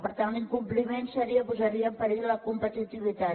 per tant l’incompliment posaria en perill la competitivitat